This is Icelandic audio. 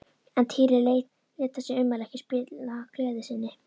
En Týri lét þessi ummæli ekki spilla gleði sinni.